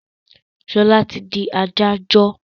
Ṣọlá ti di adájọ́